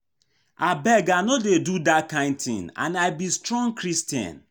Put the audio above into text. Abeg I no dey do dat kin thing and I be strong Christian